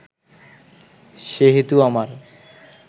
সেহেতু আমার